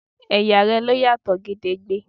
Ẹ̀yà rẹ ló yàtọ̀ gedegbe